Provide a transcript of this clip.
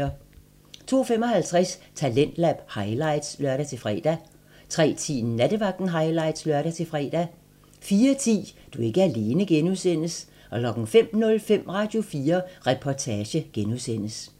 02:55: Talentlab highlights (lør-fre) 03:10: Nattevagten highlights (lør-fre) 04:10: Du er ikke alene (G) 05:05: Radio4 Reportage (G)